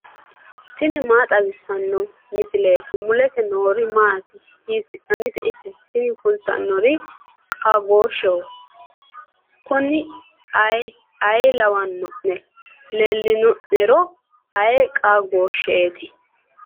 tini maa xawissanno misileeti ? mulese noori maati ? hiissinannite ise ? tini kultannori qaagooshsheho. kunino ayiiha lawanno'ne? leellino'nero ayii qaagooshsheeti.